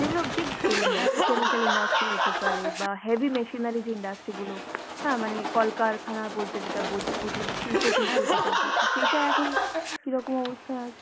যেগুলো big scale industry, chemical industry হতে পারে বা heavy machinery যে industry গুলো, হ্যাঁ মানে কলকারখানা বলতে যেটা বু~ বুঝি বা শিল্প টিল্প যেটা বুঝি সেটা এখন কীরকম অবস্থায় আছে?